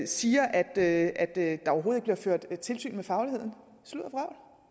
siger at der overhovedet ikke bliver ført tilsyn med fagligheden sludder